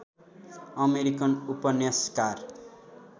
American उपन्यासकार